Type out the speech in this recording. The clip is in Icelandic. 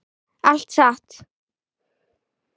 Allt satt.